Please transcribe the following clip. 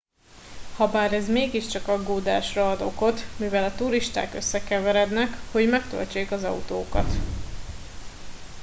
habár ez mégiscsak aggódásra ad okot mivel a turisták összekeverednek hogy megtöltsék az autókat